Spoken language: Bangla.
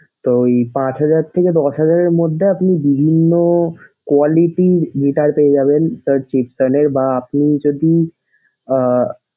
তো পাঁচ হাজার থেকে দশ হাজারের মধ্যে আপনি বিভিন্ন quality র guitar পেয়ে যাবেন।